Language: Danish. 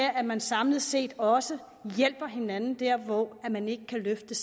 at man samlet set også hjælper hinanden hvor man ikke kan løfte